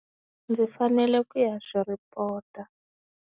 Ndzi fanele ku ya swi report-a.